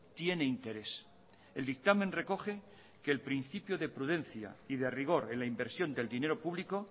tiene interés el dictamen recoge que el principio de prudencia y de rigor en la inversión del dinero público